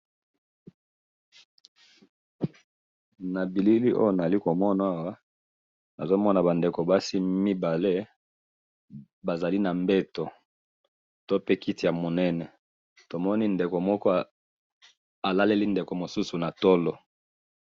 Na bilili nazo mona awa, eza basi mibale, moko alaleli moninga na tolo, baza likolo na mbeto to na kiti.